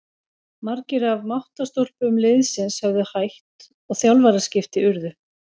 Margir af máttarstólpum liðsins höfðu hætt og þjálfaraskipti urðu.